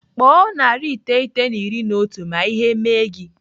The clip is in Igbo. Kpọọ narị iteghete na iri na otu ma ihe mee gị.